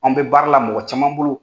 An bɛ baara la mɔgɔ caman bolo.